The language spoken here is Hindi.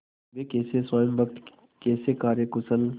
वे कैसे स्वामिभक्त कैसे कार्यकुशल